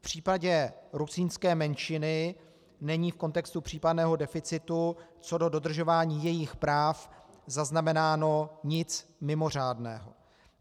V případě rusínské menšiny není v kontextu případného deficitu co do dodržování jejich práv zaznamenáno nic mimořádného.